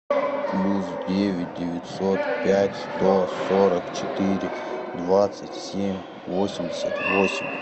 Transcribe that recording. плюс девять девятьсот пять сто сорок четыре двадцать семь восемьдесят восемь